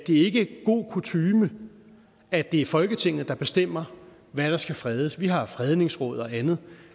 er ikke god kutyme at det er folketinget der bestemmer hvad der skal fredes vi har fredningsråd og andet